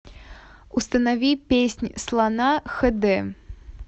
установи песнь слона хд